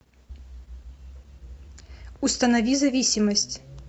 установи зависимость